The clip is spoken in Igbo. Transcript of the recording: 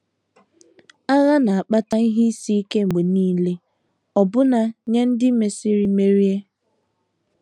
Agha na - akpata ihe isi ike mgbe nile, ọbụna nye ndị mesịrị merie.